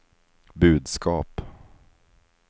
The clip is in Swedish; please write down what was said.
budskap